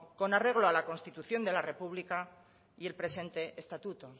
con arreglo a la constitución de la republica y el presente estatuto